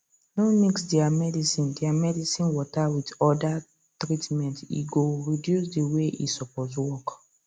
no mix their medicine their medicine water with orda treatmente go reduce the way e suppose work